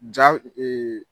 Jaw